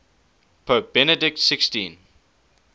pope benedict xv